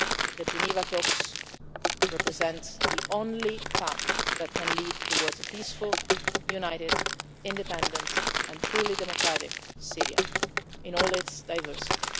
The Geneva talks represent the only path that can lead towards a peaceful, united, independent and truly democratic Syria, in all its diversity.